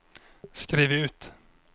skriv ut